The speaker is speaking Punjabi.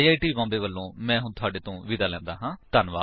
ਆਈ ਆਈ ਟੀ ਬੌਮਬੇ ਵਲੋਂ ਮੈਂ ਹੁਣ ਤੁਹਾਡੇ ਤੋਂ ਵਿਦਾ ਲੈਂਦਾ ਹਾਂ